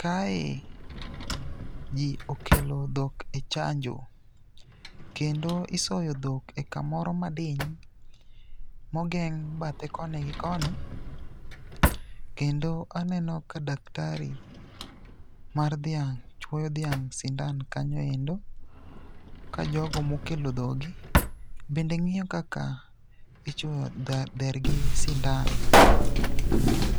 Kae ji okelo dhok e chanjo, kendo isoyo dhok e kamoro madiny mogeng' bathe koni gi koni. Kendo aneno ka daktari mar dhiang' chuoyo dhiang' sindan kanyo endo, ka jogo mokelo dhoggi be ng'iyo kaka ichuoyo dhergi sindan.